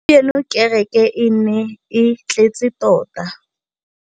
Gompieno kêrêkê e ne e tletse tota.